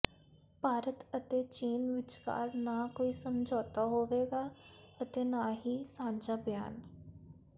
ਭਾਰਤ ਅਤੇ ਚੀਨ ਵਿਚਕਾਰ ਨਾ ਕੋਈ ਸਮਝੌਤਾ ਹੋਵੇਗਾ ਅਤੇ ਨਾ ਹੀ ਸਾਂਝਾ ਬਿਆਨ